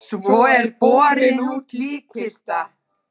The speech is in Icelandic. Svo er borin út líkkista.